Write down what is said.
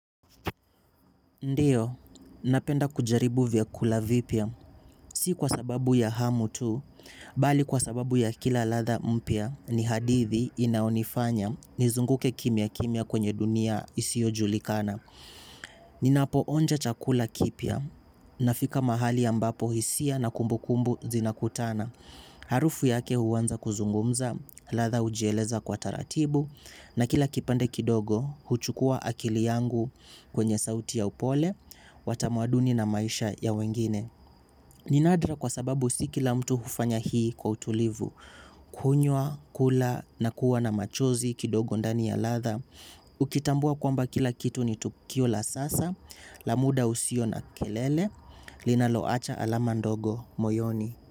Ndiyo, napenda kujaribu vyakula vipya, si kwa sababu ya hamu tu, bali kwa sababu ya kila latha mpya, ni hadithi inaonifanya, nizunguke kimya kimya kwenye dunia isio julikana. Ninapo onja chakula kipya, nafika mahali ambapo hisia na kumbu kumbu zinakutana. Harufu yake huwanza kuzungumza, latha ujieleza kwa taratibu. Na kila kipande kidogo, huchukua akili yangu kwenye sauti ya upole, wa tamuaduni na maisha ya wengine. Ni nadra kwa sababu si kila mtu hufanya hii kwa utulivu. Kunywa, kula, na kuwa na machozi kidogo ndani ya latha. Ukitambua kwamba kila kitu ni tukio la sasa, la muda usio na kelele, linaloacha alama ndogo moyoni.